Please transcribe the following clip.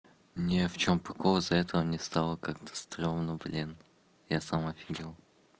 ни в чём прикол из-за этого мне стало как-то стремно блин я сам офигел